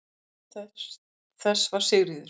Arkitekt þess var Sigríður